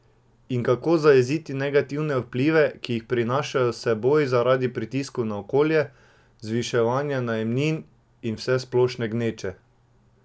In kako zajeziti negativne vplive, ki jih prinašajo s seboj zaradi pritiskov na okolje, zviševanja najemnin in vsesplošne gneče?